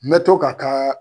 N bɛ to ka taa